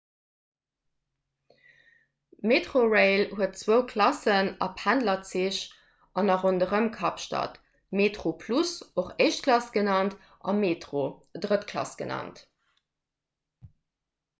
metrorail huet zwou klassen a pendlerzich an a ronderëm kapstad: metroplus och éischt klass genannt a metro drëtt klass genannt